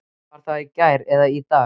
Var það í gær eða í dag?